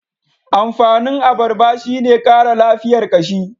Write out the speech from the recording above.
Amfanin abarba shi ne Kara lafiyar kashi.